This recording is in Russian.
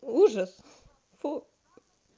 ужас фу